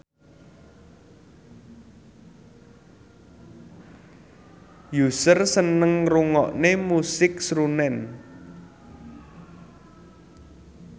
Usher seneng ngrungokne musik srunen